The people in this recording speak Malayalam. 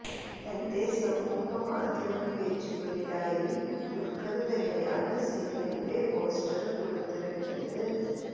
തന്റെ സാമൂഹ മാധ്യമ പേജുകളിലായി ദുല്ഖര് തന്നെയാണ് സിനിമയുടെ പോസ്റ്റര് പുറത്തിറക്കിയത്